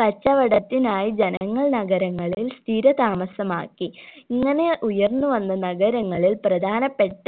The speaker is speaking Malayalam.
കച്ചവടത്തിനായി ജനങ്ങൾ നഗരങ്ങളിൽ സ്ഥിരതാമസ്സമാക്കി ഇങ്ങനെ ഉയർന്നു വന്ന നഗരങ്ങളിൽ പ്രധാനപ്പെട്ട